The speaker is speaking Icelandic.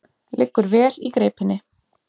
Liggur vel í greipinni.